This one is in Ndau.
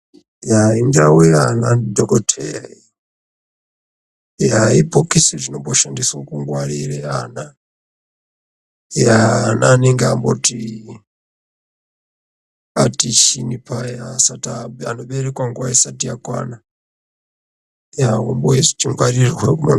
Yaa indau yaana dhogodheya iyi. Yaa ibhokisi rino mboshandiswa kungwaririre, yaa anenge amboti, ati chiinyii paya, ana anoberekwa nguva isati yakwana ombo ngwarirwe imomo.